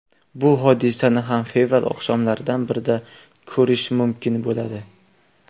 Bu hodisani ham fevral oqshomlaridan birida ko‘rish mumkin bo‘ladi.